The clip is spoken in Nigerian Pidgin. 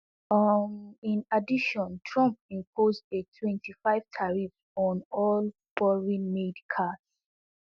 um in addition trump impose a twenty-five tariff on all foreignmade cars